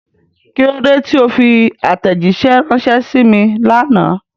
kílódé tí o fi àtẹ̀jísẹ́ ránṣẹ sí mi lánàá?